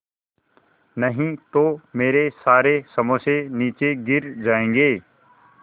नहीं तो मेरे सारे समोसे नीचे गिर जायेंगे